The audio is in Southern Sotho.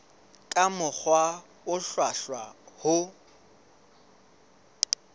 ka mokgwa o hlwahlwa ho